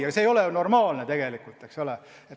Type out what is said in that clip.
Aga see ei ole normaalne tegelikult, eks ole.